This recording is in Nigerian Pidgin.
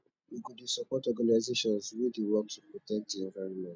we go dey support organisations wey dey work to protect di environment